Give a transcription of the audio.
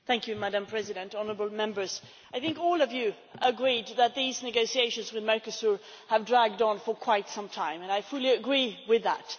Madam President, honourable Members, I think all of you agreed that these negotiations with Mercosur have dragged on for quite some time, and I fully agree with that.